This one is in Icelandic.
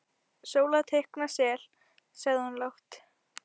Sóla teikna sel, sagði hún lágt.